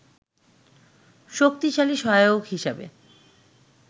শক্তিশালী সহায়ক হিসেবে